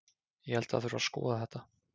Ég held að það þurfi að skoða þetta.